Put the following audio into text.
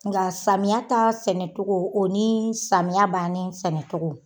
Nga samiya ta sɛnɛ cogo o ni samiya banni sɛnɛ cogo